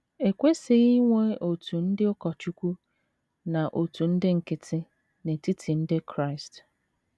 E kwesịghị inwe òtù ndị ụkọchukwu na òtù ndị nkịtị n’etiti ndị Kraịst.